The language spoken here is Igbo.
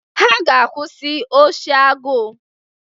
Ha ga-akwụsị oshi agụụ